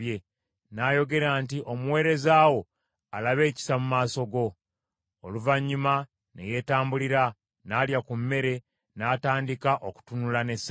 N’ayogera nti, “Omuweereza wo alabe ekisa mu maaso go.” Oluvannyuma ne yeetambulira, n’alya ku mmere, n’atandika okutunula n’essanyu.